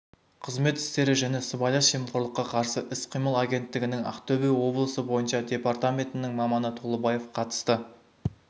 қызмет істері және сыбайлас жемқорлыққа қарсы іс-қимыл агенттігінің ақтөбе облысы бойынша департаментінің маманы толыбаев қатысты